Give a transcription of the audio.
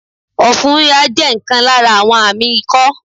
Òfun híha jẹ́ nkan lára àwọn àmí ikó